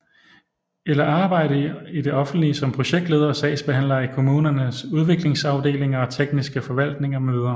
Eller arbejde i det offentlige som projektledere og sagsbehandlere i kommunernes udviklingsafdelinger og tekniske forvaltninger mv